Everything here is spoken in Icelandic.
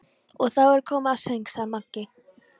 Og þá er komið að söng, sagði Maggi.